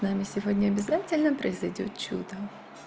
нами сегодня обязательно произойдёт чудо